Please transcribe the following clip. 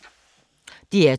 DR2